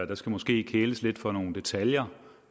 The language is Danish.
der skal måske kæles lidt for nogle detaljer